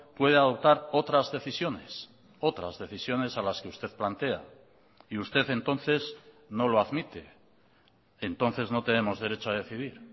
puede adoptar otras decisiones otras decisiones a las que usted plantea y usted entonces no lo admite entonces no tenemos derecho a decidir